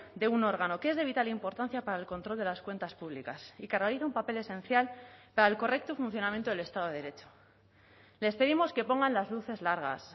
de un órgano que es de vital importancia para el control de las cuentas públicas y que realiza un papel esencial para el correcto funcionamiento del estado de derecho les pedimos que pongan las luces largas